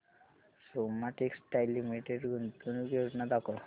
Soma textile limited गुंतवणूक योजना दाखव